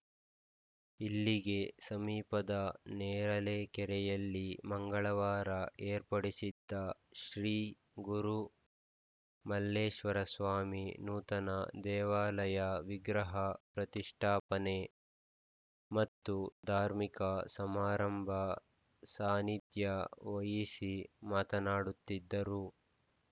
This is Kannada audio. ಇಲ್ಲಿಗೆ ಸಮೀಪದ ನೇರಲೆಕೆರೆಯಲ್ಲಿ ಮಂಗಳವಾರ ಏರ್ಪಾಡಾಗಿದ್ದ ಶ್ರೀ ಗುರು ಮಲ್ಲೇಶ್ವರಸ್ವಾಮಿ ನೂತನ ದೇವಾಲಯ ವಿಗ್ರಹ ಪ್ರತಿಷ್ಠಾಪನೆ ಮತ್ತು ಧಾರ್ಮಿಕ ಸಮಾರಂಭ ಸಾನಿಧ್ಯ ವಹಿಸಿ ಮಾತನಾಡುತ್ತಿದ್ದರು